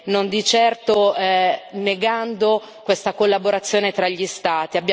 non di certo negando questa collaborazione tra gli Stati.